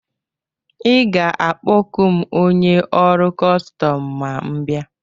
Ị ga-akpọku m onye ọrụ kọstọm ma m bịa?